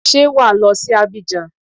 Ṣé wà á lọ sí Abidjan?